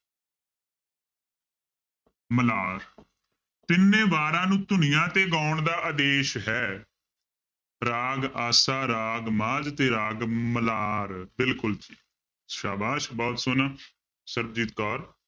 ਮਲਾਰ ਤਿੰਨੇ ਵਾਰਾਂ ਨੂੰ ਧੁਨੀਆਂ ਤੇ ਗਾਉਣ ਦਾ ਆਦੇਸ਼ ਹੈ ਰਾਗ ਆਸਾ, ਰਾਗ ਮਾਝ ਤੇ ਰਾਗ ਮਲਾਰ ਬਿਲਕੁਲ ਜੀ, ਸਾਬਾਸ਼ ਬਹੁਤ ਸੋਹਣਾ ਸਰਬਜੀਤ ਕੌਰ